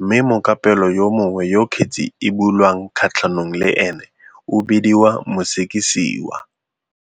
mme mokapelo yo mongwe yo kgetse e bulwang kgatlhanong le ene o bediwa mosekisiwa."